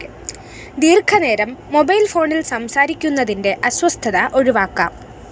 ദീര്‍ഘനേരം mobile ഫോണില്‍ സംസാരിക്കുന്നതിന്റെ അസ്വസ്ഥത ഒഴിവാക്കാം